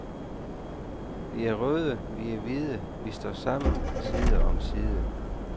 Vi er røde, vi er hvide, vi står sammen side om side.